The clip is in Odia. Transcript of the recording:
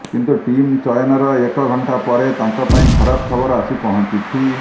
କିନ୍ତୁ ଟିମ୍ ଚୟନର ଏକ ଘଣ୍ଟା ପରେ ତାଙ୍କ ପାଇଁ ଖରାପ ଖବର ଆସି ପହଞ୍ଚିଛି